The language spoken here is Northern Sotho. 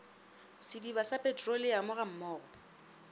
sediba sa petroleamo ga mmogo